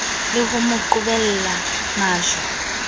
le ho mo qhobella majwe